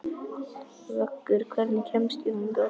Vöggur, hvernig kemst ég þangað?